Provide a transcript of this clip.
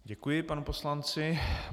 Děkuji panu poslanci.